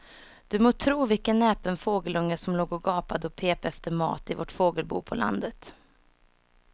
Du må tro vilken näpen fågelunge som låg och gapade och pep efter mat i vårt fågelbo på landet.